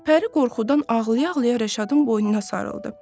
Pəri qorxudan ağlaya-ağlaya Rəşadın boynuna sarıldı.